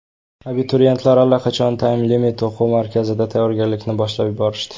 Abituriyentlar allaqachon Time Limit o‘quv markazida tayyorgarlikni boshlab yuborishdi.